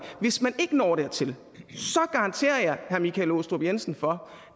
hvis man ikke når dertil garanterer jeg herre michael aastrup jensen for